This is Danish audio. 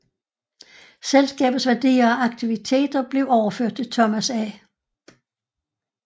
Selskabets værdier og aktiviteter blev overført til Thomas A